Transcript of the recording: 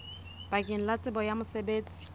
bakeng la tsebo ya mosebetsi